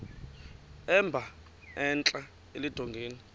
emba entla eludongeni